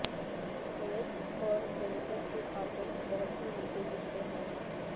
یلیکس اور جینفر کے قاتل بہت ہی ملتے جلتے ہیں